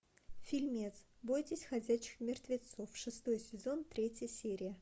фильмец бойтесь ходячих мертвецов шестой сезон третья серия